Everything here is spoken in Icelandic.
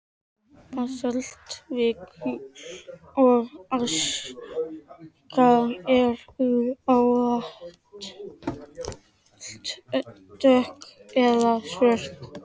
Basaltvikur og aska eru ávallt dökk eða svört að lit.